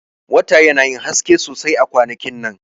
Wata yana yin haske sosai a kwanakin nan.